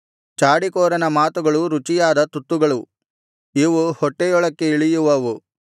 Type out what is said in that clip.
ಚಾಡಿಕೋರನ ಮಾತುಗಳು ರುಚಿಯಾದ ತುತ್ತುಗಳು ಇವು ಹೊಟ್ಟೆಯೊಳಕ್ಕೇ ಇಳಿಯುವವು